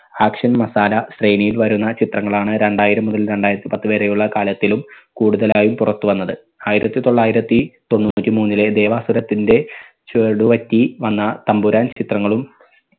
action masala ശ്രേണിയിൽ വരുന്ന ചിത്രങ്ങവളാണ് രണ്ടായിരം മുതൽ രണ്ടായിരത്തി പത്ത് വരെയുള്ള കാലത്തിലും കൂടുതലായും പുറത്തു വന്നത്. ആയിരത്തി തൊള്ളായിരത്തി തൊണ്ണൂറ്റി മൂന്നിലെ ദേവാസുരത്തിന്റെ ചുവടുപറ്റി വന്ന തമ്പുരാൻ ചിത്രങ്ങളും